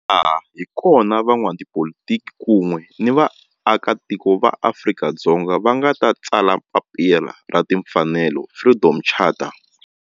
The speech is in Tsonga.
Laha hi kona la van'watipolitiki kun'we ni vaaka tiko va Afrika-Dzonga va nga tsala papila ra timfanelo Freedom Charter.